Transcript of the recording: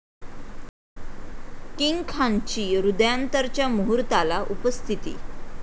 king खानची 'हृदयांतर'च्या मुहूर्ताला उपस्थिती